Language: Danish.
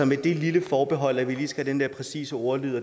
med det lille forbehold at vi lige skal have den der præcise ordlyd